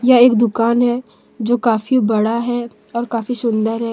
यह एक दुकान है जो काफी बड़ा है और काफी सुंदर है।